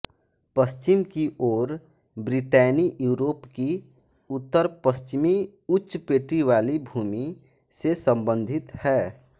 पश्चिम की ओर Brittany Europe की उत्तरपश्चिमी उच्च पेटीवाली भूमि से संबंधित है